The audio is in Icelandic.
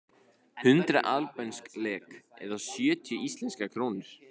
Hundrað albönsk lek eða sjötíu íslenskar krónur.